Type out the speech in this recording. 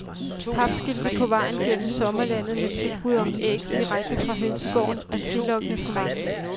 Papskilte på vejen gennem sommerlandet med tilbud om æg direkte fra hønsegården er tillokkende for mange.